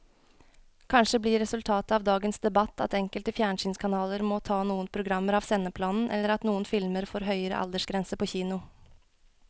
Kanskje blir resultatet av dagens debatt at enkelte fjernsynskanaler må ta noen programmer av sendeplanen eller at noen filmer får høyere aldersgrense på kino.